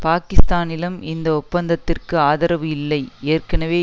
பாகிஸ்தானிலும் இந்த ஒப்பந்தத்திற்கு ஆதரவு இல்லை ஏற்கனவே